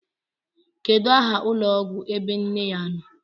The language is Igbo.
Kedu aha ụlọọgwụ ebe nne ya nọ?